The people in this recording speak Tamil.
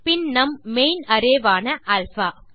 பின் நம் மெயின் அரே ஆன அல்பா